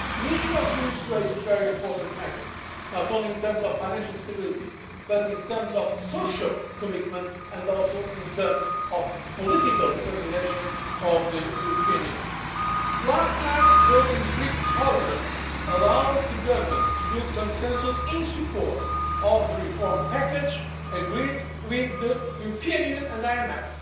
a whole. The issue of Greece raises very important issues, not just in terms of financial stability, but also in terms of social commitment and in terms of the political determination of the European Union. Last night's vote in the Greek Parliament allows the government to build consensus in support of the reform package, agreed with the European Union